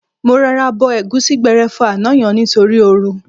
Mo rọra bo ẹ̀gúsí gbẹrẹfu àná yẹn nítorí ooru.